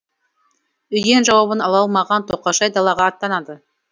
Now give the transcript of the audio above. үйден жауабын ала алмаған тоқашай далаға аттанады